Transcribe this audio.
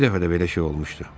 Bir dəfə də belə şey olmuşdu.